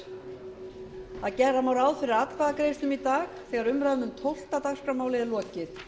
þess að gera má ráð fyrir atkvæðagreiðslum í dag þegar umræðu um tólfta dagskrármálið er lokið